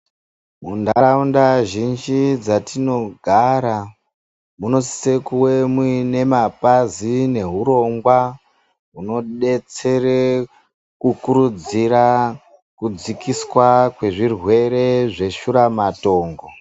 Mundaraunda zhinji dzarinogara munosise kuwe muine mapazi nehurongwaa hunodetsere kukurudziraa kudzikiswaa kwezvirwere zveshura matongo.